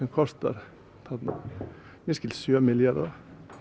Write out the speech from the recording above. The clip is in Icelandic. kostar að mér skilst sjö milljarða